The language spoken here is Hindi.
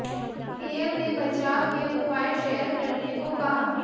पीएम ने बचाव के उपाय शेयर करने को कहा